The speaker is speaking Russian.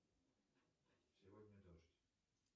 сегодня дождь